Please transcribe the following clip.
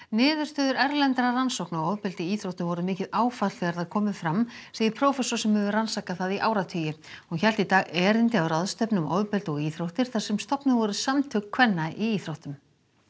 niðurstöður erlendra rannsókna á ofbeldi í íþróttum voru mikið áfall þegar þær komu fram segir prófessor sem hefur rannsakað það í áratugi hún hélt í dag erindi á ráðstefnu um ofbeldi og íþróttir þar sem stofnuð voru Samtök kvenna í íþróttum